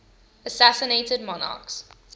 assassinated monarchs